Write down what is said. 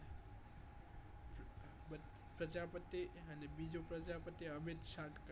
પ્રજાપતિ અને બીજું પ્રજાપતિ અમીત્સંત્કાર